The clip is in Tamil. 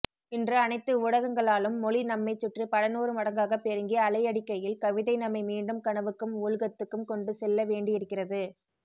இன்று அனைத்து ஊடகங்களாலும் மொழி நம்மைச்சுற்றி பலநூறுமடங்காக பெருகி அலையடிக்கையில் கவிதை நம்மை மீண்டும் கனவுக்கும் ஊழ்கத்துக்கும் கொண்டுசெல்லவேண்டியிருக்கிறது